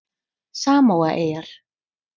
Samóaeyjar